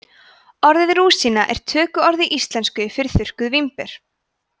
orðið rúsína er tökuorð í íslensku yfir þurrkuð vínber